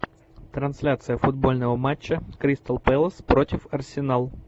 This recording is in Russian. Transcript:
трансляция футбольного матча кристал пэлас против арсенал